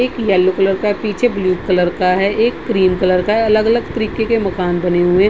एक yellow colour का पीछे ब्लू कलर का है एक क्रीम कलर का अलग-अलग तरीके के मकान बने हुए है।